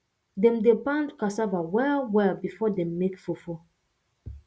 dem dey pound cassava well well before dem make fufu